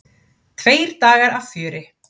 Tveir dagar af fjöri.